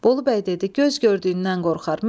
Bolu bəy dedi: "Göz gördüyündən qorxar.